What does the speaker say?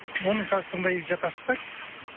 оны қазір тыңдай жатарсыздар